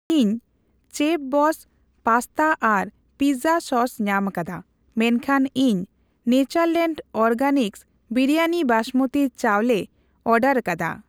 ᱤᱧ ᱪᱮᱯᱷᱵᱚᱥᱥ ᱯᱟᱥᱛᱟ ᱟᱨ ᱯᱤᱡᱡᱟ ᱥᱚᱥ ᱧᱟᱢᱟᱠᱟᱫᱟ ᱢᱮᱱᱠᱷᱟᱱ ᱤᱧ ᱱᱮᱪᱟᱨᱞᱮᱱᱰ ᱚᱨᱜᱮᱱᱤᱠᱥ ᱵᱤᱨᱤᱭᱟᱱᱤ ᱵᱟᱸᱥᱢᱚᱛᱤ ᱪᱟᱣᱞᱮ ᱚᱨᱰᱟᱨᱠᱟᱫᱟ ᱾